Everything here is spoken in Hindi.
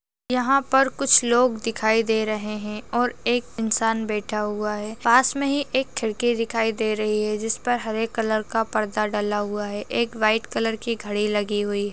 यहाँ पर कुछ लोग दिखाई दे रहे हैं और एक इंसान बैठा हुआ है पास मे ही एक खिड़की दिखाई दे रही है जिस पर हरे कलर का पर्दा डला हुआ है एक वाइट कलर की घड़ी लगी हुई --